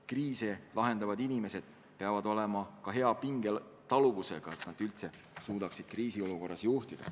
Kriise lahendavad inimesed peavad olema ka hea pingetaluvusega, et nad üldse suudaksid kriisiolukorras juhtida.